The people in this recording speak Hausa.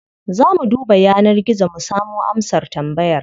Za mu duba yanar gizo mu samo amsar tambayar.